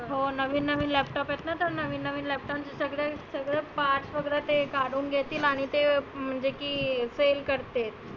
हो नविन नविन laptop आहेत ना तर नविन नविन laptop सगळे सगळ parts वगैरे काढुन घेतील. आणि ते की sell करते.